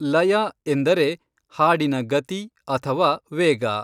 ಲಯ ಎಂದರೆ ಹಾಡಿನ ಗತಿ ಅಥವಾ ವೇಗ.